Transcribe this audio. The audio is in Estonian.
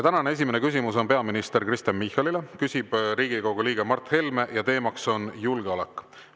Tänane esimene küsimus on peaminister Kristen Michalile, küsib Riigikogu liige Mart Helme ja teema on julgeolek.